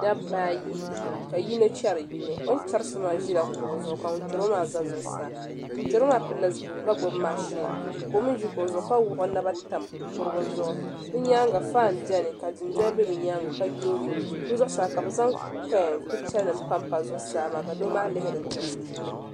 Dabba ayi ka yino chɛri yino o ni chɛri so maa ʒila kuɣu zuɣu ka ŋun chɛro maa ʒɛ zuɣusaa ŋun chɛro maa pilila zipiligu ka gbubi mashin ka o mii ʒi kuɣu zuɣu ka wuɣi o naba tam kurigu zuɣu bi nyaanga faan biɛni ka dundoli bɛ bi nyaanga ka yoogi bi zuɣusaa ka bi zaŋ picha nim panpa zuɣusaa maa ka doo maa kihiri diɣi puuni